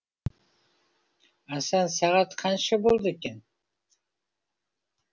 асан сағат қанша болды екен